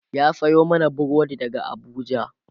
ya Sayo mana burodi daga Abuja